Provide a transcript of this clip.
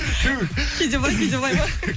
түһ кейде былай кейде былай ма